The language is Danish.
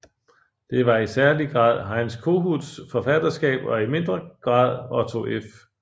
Det var i særlig grad Heinz Kohuts forfatterskab og i mindre grad Otto F